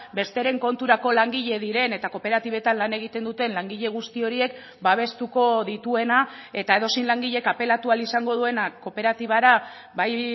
besteren konturako langile diren eta kooperatibetan lan egiten duten langile guzti horiek babestuko dituena eta edozein langilek apelatu ahal izango duena kooperatibara bai